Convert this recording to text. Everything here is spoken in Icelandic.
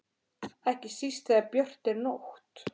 Ekki síst þegar björt er nótt.